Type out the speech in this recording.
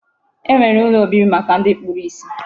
E nwere ụlọ obibi maka ndị kpuru isi.